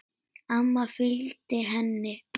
Amma fylgdi henni.